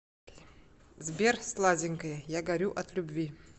сбер сладенькая я горю от любви